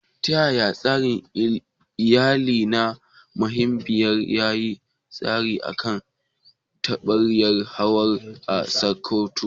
Ta yaya tsarin iyali na mahaifiya ya yi tasiri a kan tarbiyyar Hawwa a Sakkwato?